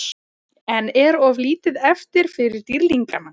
En er of lítið eftir fyrir Dýrlingana?